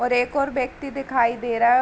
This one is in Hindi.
और एक और व्यक्ति दिखाई दे र --